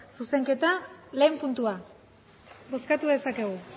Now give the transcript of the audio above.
zuzenketa batgarrena puntua bozkatu dezakegu